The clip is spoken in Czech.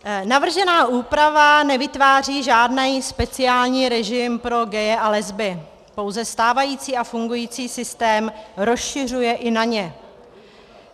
Navržená úprava nevytváří žádný speciální režim pro gaye a lesby, pouze stávající a fungující systém rozšiřuje i na ně.